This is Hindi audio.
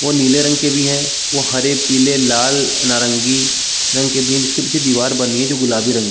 वह नीले रंग के भी है वह हरे पीले लाल नरगी रंग के जिसके पीछे दिवार बनी है जो गुलाबी रंग --